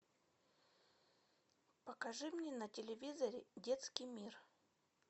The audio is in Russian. покажи мне на телевизоре детский мир